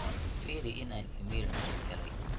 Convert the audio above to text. firi in aan iimayl cusub helay